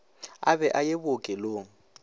a be a ye bookelong